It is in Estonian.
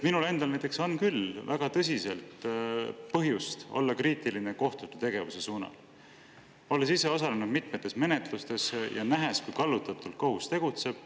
Minul endal on küll väga tõsiselt põhjust olla kriitiline kohtute tegevuse suhtes, olles ise osalenud mitmes menetluses ja nähes, kui kallutatult kohus tegutseb.